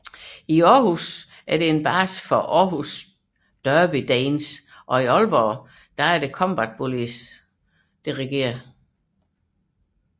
Århus er base for Århus Derby Danes og i Aalborg regerer Combat Bullies